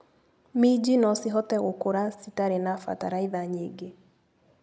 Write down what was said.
Minji nocihote gũkũra citarĩ na bataraitha nyingĩ.